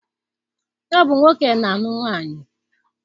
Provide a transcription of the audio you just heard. Ọ bụ nwoke na-alụ nwaanyị